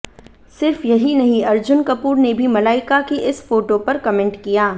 सिर्फ यहीं नहीं अर्जुन कपूर ने भी मलाइका की इस फोटो पर कमेंट किया